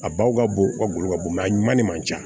A baw ka bon u ka golo ka bon a ɲuman de man ca